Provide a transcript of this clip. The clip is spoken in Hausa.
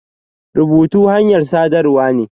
Rubutu hanyar saɗarwa ne.